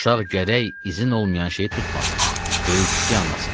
Uşaq gərək izin olmayan şeyi tutmasın, böyük-kiçik anlasın.